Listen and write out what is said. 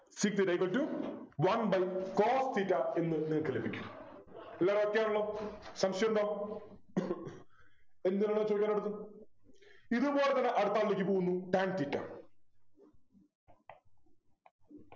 sec theta equal to one by cos theta എന്ന് നിങ്ങൾക്ക് ലഭിക്കും എല്ലാം okay ആണല്ലോ സംശയമുണ്ടോ എന്ത് വേണേലും ചോദിക്കാലോ ഇതുപോലെത്തന്നെ അടുത്ത ആളിലേക്ക് പോകുന്നു tan theta